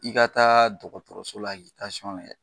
I ka taa dɔgɔtɔrɔso la k'i tansiyɔn lajɛ.